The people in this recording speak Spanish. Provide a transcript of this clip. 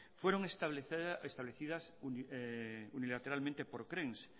fueron establecidas unilateralmente por krens